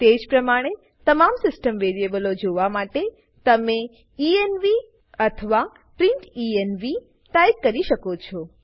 તેજ પ્રમાણે તમામ સીસ્ટમ વેરીએબલો જોવા માટે તમેenv અથવા પ્રિંટેન્વ ટાઈપ કરી શકો છો